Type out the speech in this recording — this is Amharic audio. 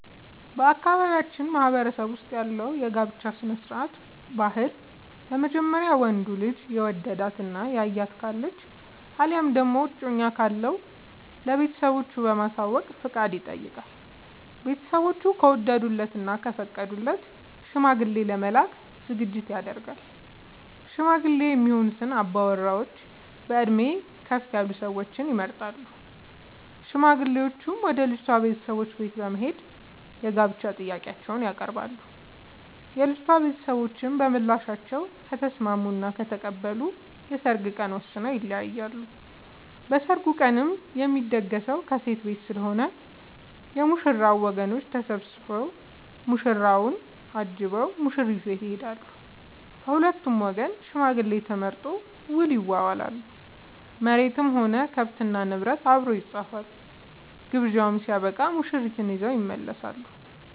በአካባቢያችን ማህበረሰብ ውስጥ ያለው የጋብቻ ስርዓት/ ባህል በመጀመሪያ ወንዱ ልጅ የወደዳት እና ያያት ካለች አለያም ደግሞ እጮኛ ካለው ለቤተሰቦቹ በማሳወቅ ፍቃድ ይጠይቃል። ቤተስቦቹ ከወደዱለት እና ከፈቀዱለት ሽማግሌ ለመላክ ዝግጅት ይደረጋል። ሽማግሌ የሚሆኑ አባወራዎች በእድሜ ከፍ ያሉ ሰዎች ይመረጣሉ። ሽማግሌዎቹም ወደ ልጅቷ ቤተሰቦች በት በመሄድ የጋብቻ ጥያቄአቸውን ያቀርባሉ። የልጂቷ ቤተሰቦችም በምላሻቸው ከተስምስሙ እና ከተቀበሉ የሰርግ ቀን ወስነው ይለያያሉ። በሰርጉ ቀንም የሚደገሰው ከሴት ቤት ስለሆነ የ ሙሽራው ወገኖች ተሰብስቧ ሙሽራውን አጅበው ሙሽሪት ቤት ይሄዳሉ። ከሁለቱም ወገን ሽማግሌ ተመርጦ ውል ይዋዋላሉ መሬትም ሆነ ከብት እና ንብረት አብሮ ይፃፋል። ግብዣው ስበቃም ሙሽርትን ይዘው ይመለሳሉ።